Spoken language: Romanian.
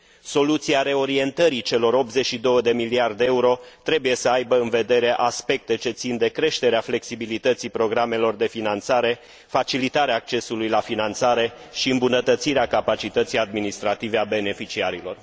Soluția reorientării celor 82 de miliarde de euro trebuie să aibă în vedere aspecte ce țin de creșterea flexibilității programelor de finanțare, facilitarea accesului la finanțare și îmbunătățirea capacității administrative a beneficiarilor.